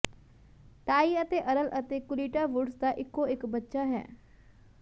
ਟਾਈ ਅਤੇ ਅਰਲ ਅਤੇ Kultida Woods ਦਾ ਇੱਕੋ ਇੱਕ ਬੱਚਾ ਹੈ